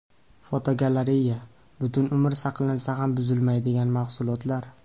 Fotogalereya: Butun umr saqlansa ham buzilmaydigan mahsulotlar.